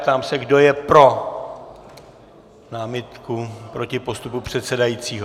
Ptám se, kdo je pro námitku proti postupu předsedajícího.